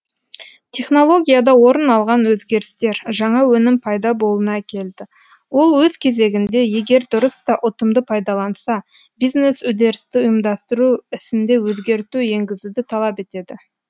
технологияда орын алған өзгерістер жаңа өнім пайда болуына әкелді ол өз кезегінде егер дұрыс та ұтымды пайдаланса бизнес үдерісті ұйымдастыру ісінде өзгерту енгізуді талап етеді